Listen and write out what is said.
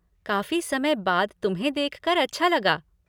काफ़ी समय बाद तुम्हें देखकर अच्छा लगा।